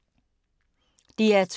DR2